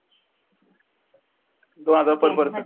दोन हजार तो पर्यंत